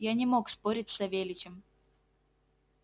я не мог спорить с савельичем